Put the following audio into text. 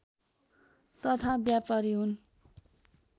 तथा व्यपारी हुन्